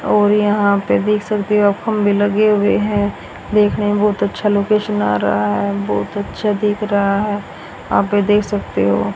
और यहां पे देख सकते हो आप खंभे लगे हुए हैं देखने में बहुत अच्छा लोकेशन आ रहा है बहुत अच्छा दिख रहा है आप ये देख सकते हो।